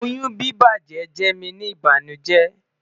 oyun bibajẹ jẹ mi ni ibanujẹ